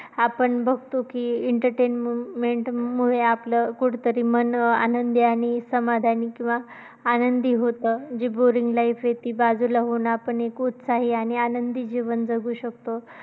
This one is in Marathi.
आपण बघतो की entertainment मुळे आपलं कुठेतरी मन आनंदी आणि समाधानी किंवा आनंदी होतं जे boring life अशी बाजूला हो ना पण एक उत्साही आणि आनंदी जीवन जगू शकतो